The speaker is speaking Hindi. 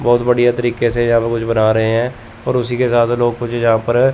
बहुत बढ़िया तरीके से यहां पर कुछ बना रहे हैं और उसी के साथ लोग कुछ यहां पर--